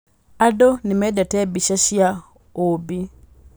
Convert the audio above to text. Andũ nĩ mendete mbica cia ũũmbi.